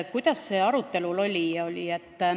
Kas see oli arutelul?